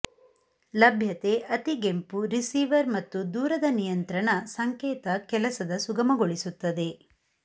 ಲಭ್ಯತೆ ಅತಿಗೆಂಪು ರಿಸೀವರ್ ಮತ್ತು ದೂರದ ನಿಯಂತ್ರಣ ಸಂಕೇತ ಕೆಲಸದ ಸುಗಮಗೊಳಿಸುತ್ತದೆ